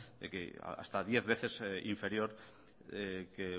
hasta diez veces inferior que